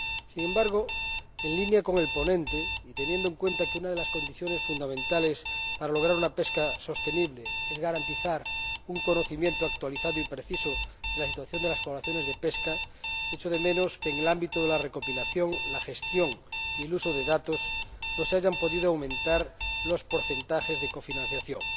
Sin embargo, en línea con el ponente y teniendo en cuenta que una de las condiciones fundamentales para lograr una pesca sostenible es garantizar un conocimiento actualizado y preciso de la situación de las poblaciones de pesca, lamento que en el ámbito de la recopilación, la gestión y el uso de datos no se hayan podido aumentar los porcentajes de cofinanciación.